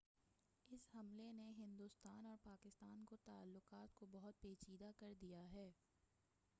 اس حملے نے ہندوستان اور پاکستان کے تعلقات کو بہت پیچیدہ کر دیا ہے